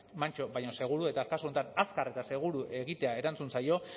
mantso baina seguru eta kasu honetan azkar eta seguru egitea erantzun zaio